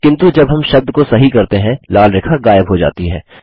किन्तु जब हम शब्द को सही करते हैं लाल रेखा गायब हो जाती है